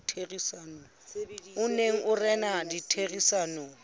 o neng o rena ditherisanong